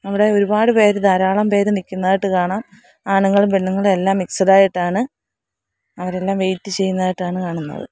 അവിടെ ഒരുപാട് പേര് ധാരാളം പേര് നിക്കുന്നതായിട്ട് കാണാം ആണുങ്ങളും പെണ്ണുങ്ങളും എല്ലാം മിക്സ്ഡ് ആയിട്ടാണ് അവരെല്ലാം വെയിറ്റ് ചെയ്യുന്നതായിട്ടാണ് കാണുന്നത്.